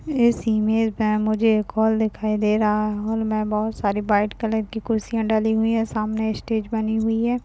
इस इमेज मे मुझे एक हॉल दिखाई दे रहा है हॉल मे बहुत सारी व्हाइट कलर की कुर्सियां डली हुई है सामने स्टेज बनी हुई है।